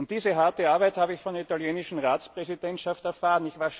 Diese harte Arbeit habe ich von der italienischen Ratspräsidentschaft erfahren.